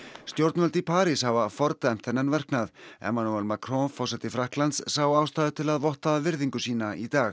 stjórnvöld í París hafa fordæmt þennan verknað Emmanuel Macron forseti Frakklands sá ástæðu til að votta virðingu sína í dag